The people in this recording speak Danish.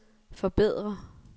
forbedre